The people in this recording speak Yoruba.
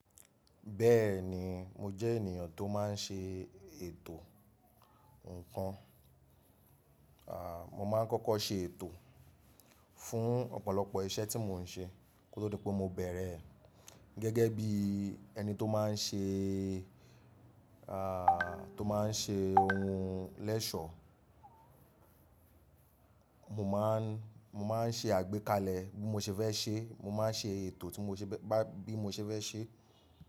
Bẹ́ẹ̀ni, mo jẹ́ ènìyàn tó má n ṣe ètò ǹkan. À, mo máa ń kọ́kọ́ ṣe ètò fún ọ̀pọ̀lọpọ̀ iṣẹ́ tí mò ń ṣe kó tó di pé mo bẹ̀rẹ̀ ẹ̀ gẹ́gẹ́ bí ẹni tó máa n ṣe, à, tó máa n ṣe ohun lẹ́ṣọ̀ó. Mo máa n, mo máa n ṣe àgbékalẹ̀ bí mo ṣe fẹ́ ṣe, mo máa n ṣe ètò tí mo ṣe ba, bí mo ṣe fẹ́ ṣe.